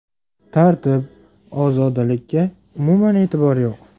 Tartib, ozodalikka umuman e’tibor yo‘q.